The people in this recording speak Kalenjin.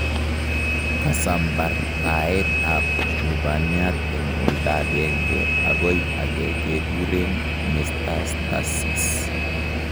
Kasambartaet ab lubaniat eng' olda ageng'e akoi ake kekureen metastasis